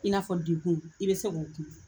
I n'a fɔ dekun i bɛ se k'o kun.